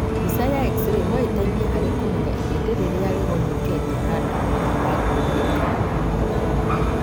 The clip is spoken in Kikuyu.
Mbica ya X-ray noĩteithie harĩ kũmenya ihĩndi rĩrĩa rĩgonyokete handũ ha kunĩka